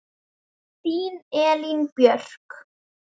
Þín Elín Björk.